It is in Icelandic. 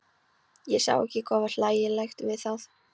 Ég sá ekki hvað var hlægilegt við það.